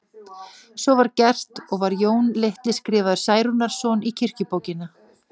Svo var gert og var Jón litli skrifaður Særúnarson í kirkjubókina.